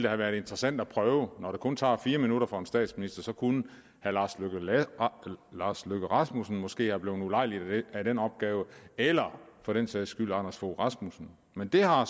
have været interessant at prøve når det kun tager fire minutter for en statsminister så kunne herre lars løkke rasmussen måske være blevet ulejliget af den opgave eller for den sags skyld anders fogh rasmussen men det har